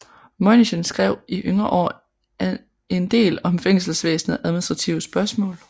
Møinichen skrev i yngre år endel om fængselsvæsenet og administrative spørgsmål